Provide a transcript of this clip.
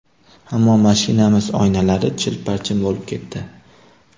Ammo mashinamiz oynalari chil-parchin bo‘lib ketdi.